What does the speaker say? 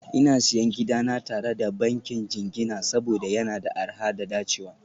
Ina Siyan gidana tare da bankin jingina saboda yana da arha da dacewa